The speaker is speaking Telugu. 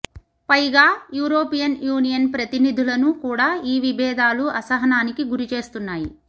పైగా యురోపియన్ యూనియన్ ప్రతినిధులను కూడా ఈ విభేదాలు అసహనానికి గురి చేస్తున్నాయి